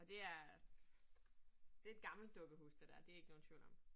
Og det er. Det et gammelt dukkehus det dér, det ikke nogen tvivl om